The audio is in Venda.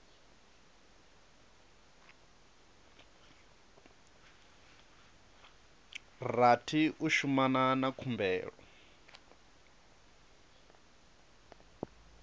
rathi u shumana na khumbelo